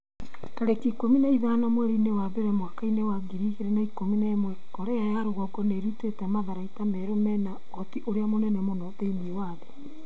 tarĩki ikũmi na ithano mweri wa mbere mwaka wa ngiri igĩrĩ na ikũmi na ĩmwe Korea ya rũgongo nĩ ĩrutĩte matharaita merũ mena ũhoti ũrĩa mũnene mũno thĩinĩ wa thĩ.'